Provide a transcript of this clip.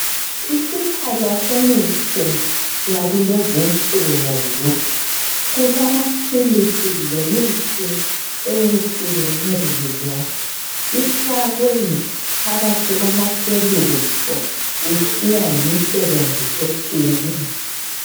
Isiphala semithi yakulezi insuku. Kulamaphilisi lemithi, eyehlukeneyo. Ifakwe phakathi kwamashelufu. Kusiya ngemisebenzi etshiyeneyo.